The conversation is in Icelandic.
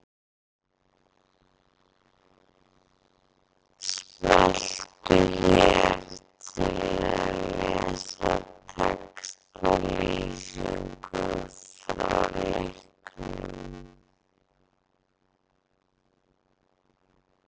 Smelltu hér til að lesa textalýsingu frá leiknum.